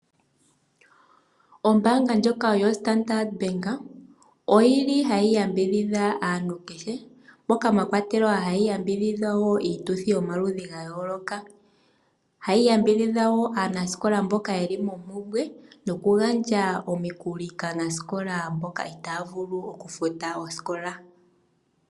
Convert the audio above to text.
Ombaanga ndjoka yo Standard oyi li ha yi yambidhidha aantu kehe moka mwa kwatelwa ha yi yambidhidha woo iituthi yomaludhi ga yooloka . Ohayi yambidhidha woo aanasikola mboka ye li mompumbwe nokugandja omikuli kaanasikola mboka itaya vulu okufuta osikola.